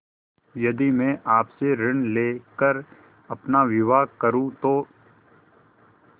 यदि मैं आपसे ऋण ले कर अपना विवाह करुँ तो